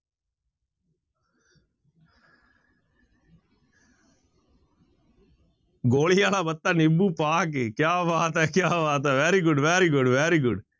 ਗੋਲੀ ਵਾਲਾ ਬੱਤਾ ਨਿੰਬੂ ਪਾ ਕੇ ਕਿਆ ਬਾਤ ਹੈ, ਕਿਆ ਬਾਤ ਹੈ very good, very good, very good